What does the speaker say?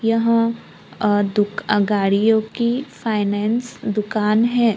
यहां आ दुकान गाड़ियों की फाइनेंस दुकान है।